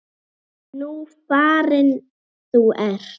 Nú farin þú ert.